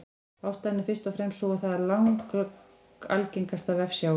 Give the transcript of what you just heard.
Ástæðan er fyrst og fremst sú að það er langalgengasta vefsjáin.